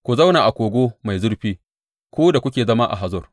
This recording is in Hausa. Ku zauna a kogo masu zurfi, ku da kuke zama a Hazor,